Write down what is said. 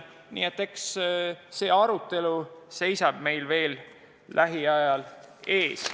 Nii et see arutelu seisab meil veel lähiajal ees.